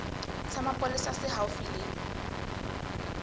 sa mapolesa se haufi le